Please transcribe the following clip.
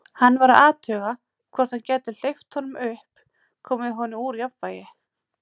Hann var að athuga, hvort hann gæti hleypt honum upp, komið honum úr jafnvægi.